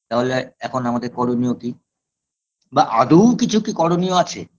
তাহলে এখন আমাদের করণীয় কি বা আদৌ কিছু কি করণীয় আছে